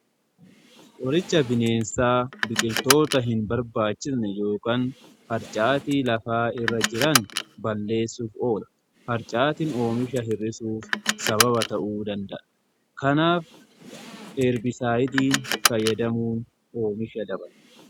Qoricha bineensaa biqiltoota hin barbaachisne yookan harcaati lafaa irra jiran balleessuuf oola. Harcaatiin oomisha hirrisuuf sababa ta'uu danda'a kanaaf heerbisaayidiin fayyadamuun oomisha dabala.